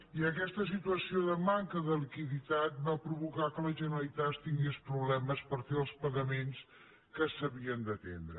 i aquesta situació de manca de liquiditat va provocar que la generalitat tingués problemes per fer els pagaments que s’havien d’atendre